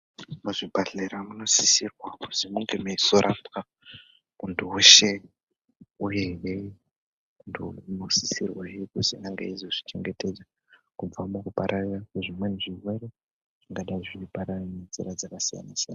Muzvibhahlera munosisirwa kuzi munge meizorapwa muntu weshe. Uyehe muntu unosisirwahe kuzi ange eizozvichengetedza kubva mukupararira kwezvimweni zvirwere zvingadai zveipararira ngenzira dzakasiyana-siyana.